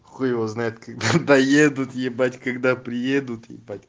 хуй его знает когда доедут ебать когда приедут ебать